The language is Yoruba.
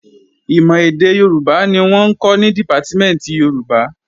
Ìmọ̀ èdè Yorùbá ni wọ́n ń kọ́ ní Dìpátímẹ̀ntì Yorùbá